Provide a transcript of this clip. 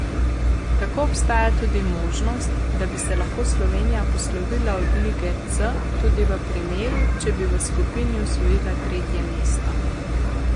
Tako obstaja tudi možnost, da bi se lahko Slovenija poslovila od lige C tudi v primeru, če bi v skupini osvojila tretje mesto.